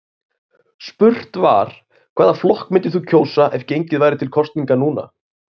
Spurt var, hvaða flokk myndir þú kjósa ef gengið væri til kosninga núna?